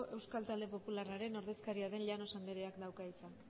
euskal talde popularraren ordezkaria den llanos andereak dauka hitza